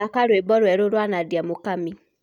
thaka rwĩmbo rweru rwa nadia mũkamĩ